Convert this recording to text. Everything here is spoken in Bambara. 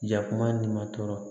Jakuma ni ma tɔɔrɔ